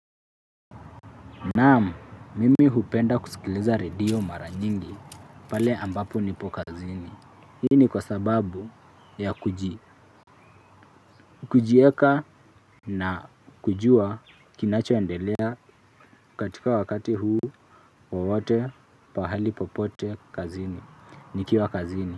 Naam, mimi hupenda kusikiliza redio mara nyingi pale ambapo nipo kazini. Hii ni kwa sababu ya kujieka na kujua kinachoendelea katika wakati huu wowote pahali popote kazini, nikiwa kazini.